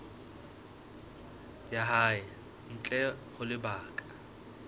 ya hae ntle ho lebaka